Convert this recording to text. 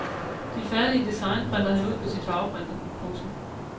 De færdige design printer han ud på sin farveprinter. punktum